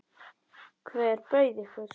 Hver bauð ykkur?